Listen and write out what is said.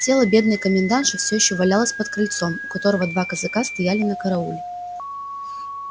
тело бедной комендантши все ещё валялось под крыльцом у которого два казака стояли на карауле